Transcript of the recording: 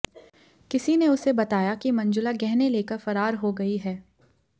किसी ने उसे बताया कि मंजुला गहने लेकर फरार हो गई है